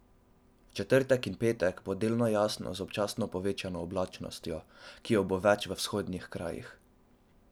V četrtek in petek bo delno jasno z občasno povečano oblačnostjo, ki jo bo več v vzhodnih krajih.